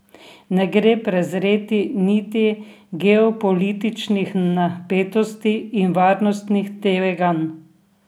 Ne gre prezreti niti geopolitičnih napetosti in varnostnih tveganj.